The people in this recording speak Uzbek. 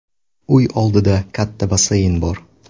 Uy oldida katta basseyn bor.